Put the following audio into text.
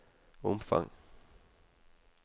omfang